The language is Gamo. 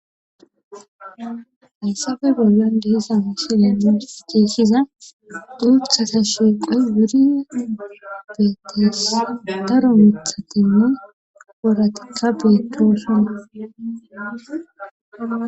hissafe bolyon dehisa miishilene deeshiza duuthata shiiqoy wuri beetteessa daro mithatinne woratka beedooshana